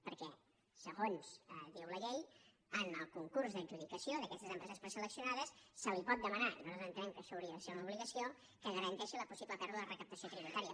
perquè segons diu la llei en el concurs d’adjudicació d’aquestes empreses preselecci·onades se li pot demanar i nosaltres entenem que ai·xò hauria de ser una obligació que garanteixi la pos·sible pèrdua de recaptació tributària